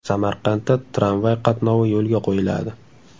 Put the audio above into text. Samarqandda tramvay qatnovi yo‘lga qo‘yiladi.